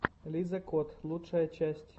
лиза кот лучшая часть